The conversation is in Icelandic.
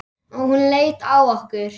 Og hún leit á okkur.